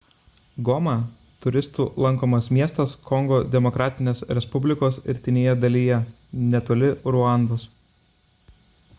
goma – turistų lankomas miestas kongo demokratinės respublikos rytinėje dalyje netoli ruandos